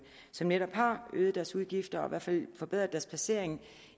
som netop har øget deres udgifter og i hvert fald forbedret deres placering